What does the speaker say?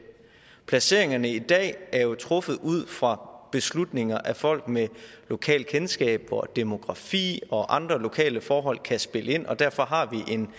placeringerne i dag er jo truffet ud fra beslutninger af folk med lokalkendskab hvor demografi og andre lokale forhold kan spille ind og derfor har